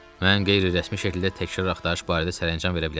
Mən qeyri-rəsmi şəkildə təkrar axtarış barədə sərəncam verə bilərəm.